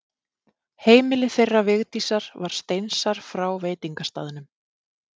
Heimili þeirra Vigdísar var steinsnar frá veitingastaðnum.